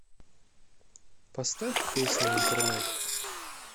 поставь песня интернет